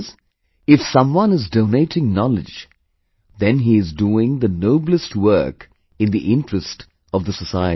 That is, if someone is donating knowledge, then he is doing the noblest work in the interest of the society